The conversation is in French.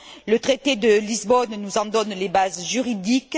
Le traité de Lisbonne nous en donne les bases juridiques.